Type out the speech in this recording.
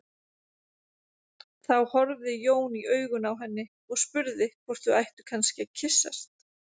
Þá horfði Jón í augun á henni og spurði hvort þau ættu kannski að kyssast.